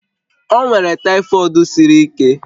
O nwere tyfod siri ike